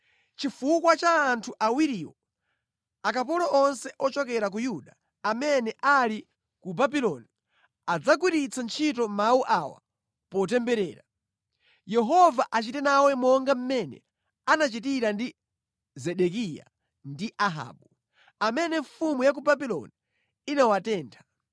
Chifukwa cha anthu awiriwo, akapolo onse ochokera ku Yuda amene ali ku Babuloni adzagwiritsa ntchito mawu awa potemberera: ‘Yehova achite nawe monga mmene anachitira ndi Zedekiya ndi Ahabu, amene mfumu ya ku Babuloni inawatentha.’